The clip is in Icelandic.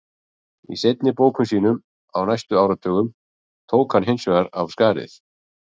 Í seinni bókum sínum á næstu áratugum tók hann hins vegar af skarið.